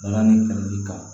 Balani kɛlɛli kan